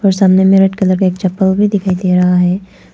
सामने में एक रेड कलर का एक चप्पल भी दिखाई दे रहा है।